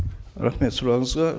рахмет сұрағыңызға